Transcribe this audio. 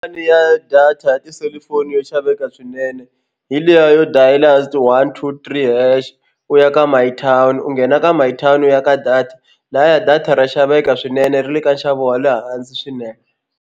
Pulani ya data ya tiselifoni yo xaveka swinene hi liya yo dayila one two three hash u ya ka my town u nghena ka my town u ya ka data lahaya data ra xaveka swinene ri le ka nxavo wa le hansi swinene.